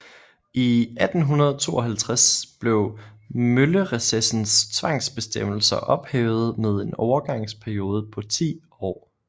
I 1852 blev møllerecessens tvangsbestemmelser ophævet med en overgangsperiode på 10 år